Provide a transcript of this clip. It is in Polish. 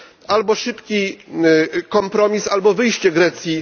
Albo szybki kompromis, albo wyjście Grecji.